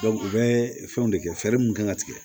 u bɛ fɛnw de kɛ fɛɛrɛ mun kan ka tigɛ